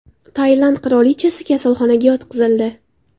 Tailand qirolichasi kasalxonaga yotqizildi.